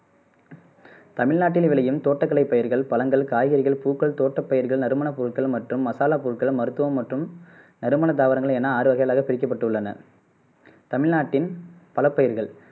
தமிழ்நாட்டில் விளையும் தோட்டக்கலை பயிர்கள் பழங்கள் காய்கறிகள் பூக்கள் தோட்டப்பயிர்கள் நறுமண பொருள்கள் மற்றும் மசாலா பொருள்கள் மருத்துவம் மற்றும் நறுமண தாவரங்கள் என ஆறு வகைகளாக பிரிக்கப்பட்டுள்ளன தமிழ்நாட்டின் பல பயிர்கள்